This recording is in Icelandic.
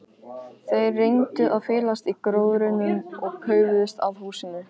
Þeir reyndu að felast í gróðrinum og paufuðust að húsinu.